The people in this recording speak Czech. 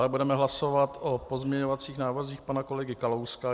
Dále budeme hlasovat o pozměňovacích návrzích pana kolegy Kalouska.